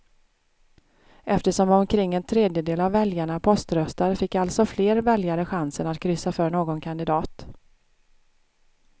Eftersom omkring en tredjedel av väljarna poströstar fick alltså fler väljare chansen att kryssa för någon kandidat.